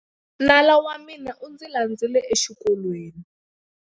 Nala wa mina u ndzi landzile exikolweni.